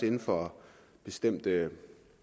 inden for bestemte